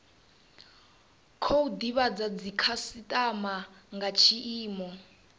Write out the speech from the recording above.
khou divhadza dzikhasitama nga tshiimo